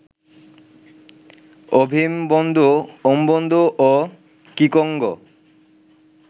Ovimbundu, Umbundu ও Kikongo